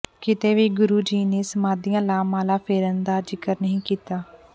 ਕਿਤੇ ਵੀ ਗੁਰੂ ਜੀ ਨੇ ਸਮਾਧੀਆਂ ਲਾ ਮਾਲਾ ਫੇਰਨ ਦਾ ਜ਼ਿਕਰ ਨਹੀਂ ਕੀਤਾ